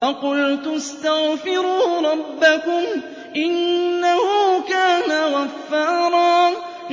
فَقُلْتُ اسْتَغْفِرُوا رَبَّكُمْ إِنَّهُ كَانَ غَفَّارًا